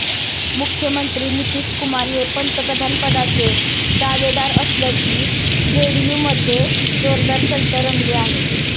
मुख्यमंत्री नितीशकुमार हे पंतप्रधानपदाचे दावेदार असल्याची जेडीयूमध्ये जोरदार चर्चा रंगली आहे